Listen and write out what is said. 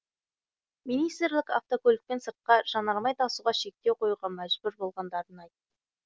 министрлік автокөлікпен сыртқа жанармай тасуға шектеу қоюға мәжбүр болғандарын айтты